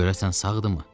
Görəsən sağdırmı?